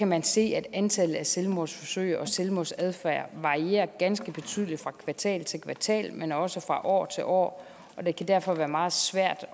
man se at antallet af selvmordsforsøg og selvmordsadfærd varierer ganske betydeligt fra kvartal til kvartal men også fra år til år det kan derfor være meget svært